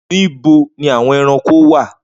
Nibo ni awọn ẹranko wa?